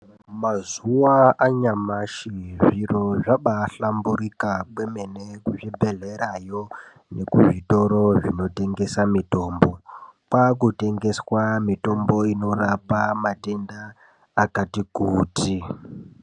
Mazuva anyamashi zviro zvabayihlamburuka kwemene kuzvibhedhlera yo nekuzvtoro zvinotengesa mitombo kwaakutengeswa mitombo inorapa matenda akati kuti.